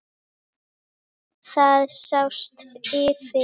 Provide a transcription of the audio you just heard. Það sást yfir